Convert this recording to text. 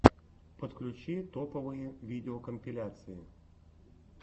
подключи топовые видеокомпиляции